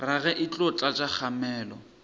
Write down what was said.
rage e tlo tlatša kgamelo